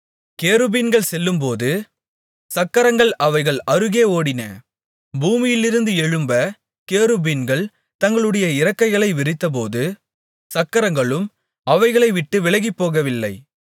கேருபீன்கள் செல்லும்போது சக்கரங்கள் அவைகள் அருகே ஓடின பூமியிலிருந்து எழும்பக் கேருபீன்கள் தங்களுடைய இறக்கைகளை விரித்தபோது சக்கரங்களும் அவைகளை விட்டு விலகிப்போகவில்லை